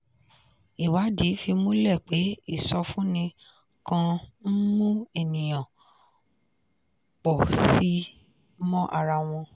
ìwádìí fìdí múlẹ̀ pé ìsọfúnni kan ń mu ènìyàn pọ̀ sí i mọ ara wọn.